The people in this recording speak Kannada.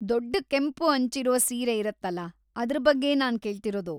ದೊಡ್ಡ ಕೆಂಪು ಅಂಚಿರೋ ಸೀರೆ ಇರತ್ತಲ ಅದ್ರ ಬಗ್ಗೆ ನಾನ್‌ ಕೇಳ್ತಿರೋದು.